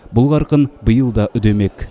бұл қарқын биыл да үдемек